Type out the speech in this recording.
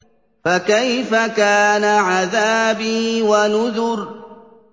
فَكَيْفَ كَانَ عَذَابِي وَنُذُرِ